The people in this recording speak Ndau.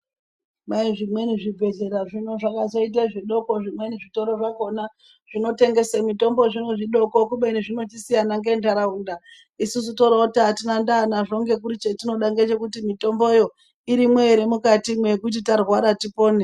Kwai zvimweni zvibhedhlera zvino zvakachaite zvidoko zvimweni zvitoro zvakona zvinotengese mitombo zvimwe zvidoko, kubeni zvinosiyana ngentaraunda. Isusu toroti hatina ndaa nazvo ngekuti chetinoda ngechekuti mwitomboyo irimwo ere mwukati yekuti tarwara tipone.